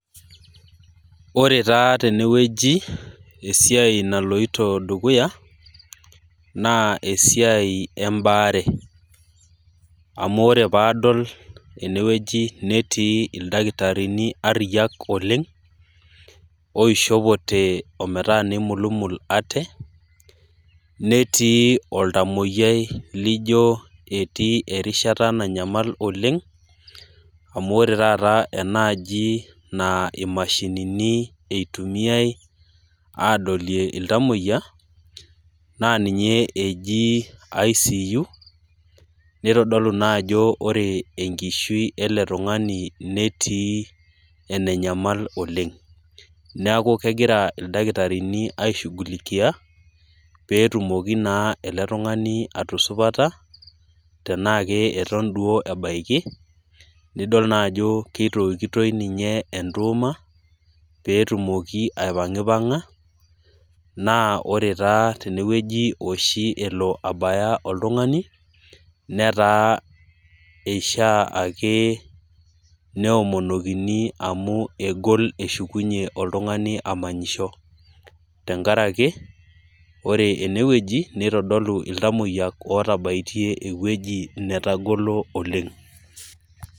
Ore taa tenewueji esiai naloito dukuya naa, esiai ebaare, amu ore pee adol enewueji netii ildakitarini ariayiak oleng, oishopote ometaa neimulumul ate, netii oltamoyiai laijo etii erishata nanyamal oleng amu, ore taata enaaji naa imashinini eitumiae aadolie iltamoyia, naa ninye eji ICU nitodolu naa ajo ore ekishui ele tung'ani netii enenyamal oleng. neaku kegira ildakitarini aishugulikia pee etumoki naa ele tung'ani atusupata, tenaa keton duo ebaiki nidol naa ajo keitokitoi ninye etuuma, pee etumoki aipangipanga naa ore taa oshi enewueji elo abaya oltungani netaa eishaa ake neomonokini ake amu, egol eshukunye oltungani amanyisho tenkaraki ore ene wueji nitodolu iltamoyia otabaitie ewueji netagolo oleng .